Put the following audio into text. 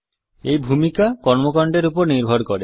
এই ভূমিকা কর্মকান্ডের উপর নির্ভর করে